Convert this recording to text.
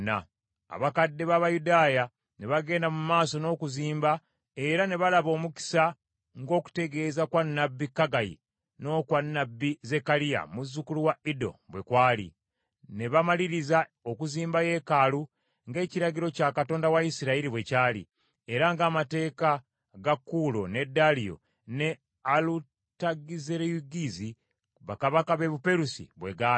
Abakadde b’Abayudaaya ne bagenda mu maaso n’okuzimba era ne balaba omukisa ng’okutegeeza kwa nnabbi Kaggayi n’okwa nnabbi Zekkaliya muzzukulu wa Ido bwe kwali. Ne bamaliriza okuzimba yeekaalu, ng’ekiragiro kya Katonda wa Isirayiri bwe kyali, era ng’amateeka ga Kuulo, ne Daliyo ne Alutagizerugizi bakabaka b’e Buperusi bwe gaali.